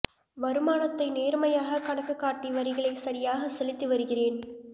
வருமானத்தை நேர்மையாக கணக்கு காட்டி வரிகளை சரியாக செலுத்தி வருகிறேன் எ